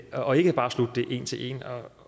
og ikke bare slugt det en til en